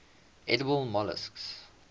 edible molluscs